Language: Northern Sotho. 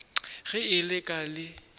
ge e le ka le